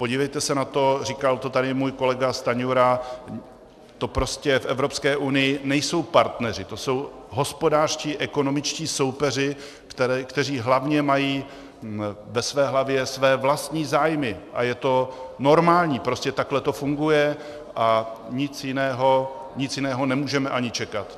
Podívejte se na to, říkal to tady můj kolega Stanjura, to prostě v Evropské unii nejsou partneři, to jsou hospodářští, ekonomičtí soupeři, kteří hlavně mají ve své hlavě své vlastní zájmy, a je to normální, prostě takhle to funguje a nic jiného nemůžeme ani čekat.